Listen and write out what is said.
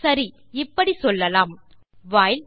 சரி இப்படி சொல்லலாம் வைல்